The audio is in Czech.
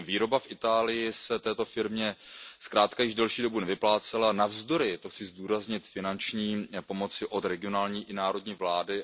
Výroba v Itálii se této firmě zkrátka již delší dobu nevyplácela navzdory, a to chci zdůraznit, finanční pomoci od regionální i národní vlády.